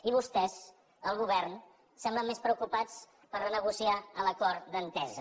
i vostès el govern semblen més preocupats per renegociar l’acord d’entesa